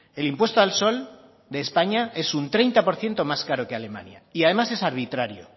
el impuesto al sol de españa es un treinta por ciento más caro que alemania y además es arbitraria